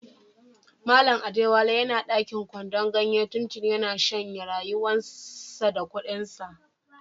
Mallam Adewale yana dakin kwandon ganye tuntuni, ya na shanye rayuwan sa da kudin sa.